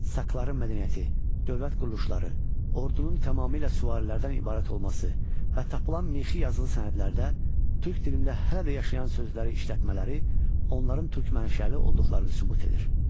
Sakların mədəniyyəti, dövlət quruluşları, ordunun tamamilə süvarilərdən ibarət olması və tapılan mixi yazılı sənədlərdə türk dilində hələ də yaşayan sözləri işlətmələri onların türk mənşəli olduqlarını sübut edir.